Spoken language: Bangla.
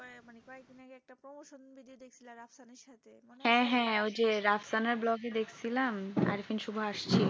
হ্যাঁ হ্যাঁ ওই যে রাস্তানার blog ই দেখছিলাম আরপিন সুভা আসছে